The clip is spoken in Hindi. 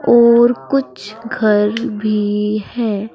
और कुछ घर भी हैं।